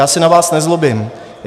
Já se na vás nezlobím.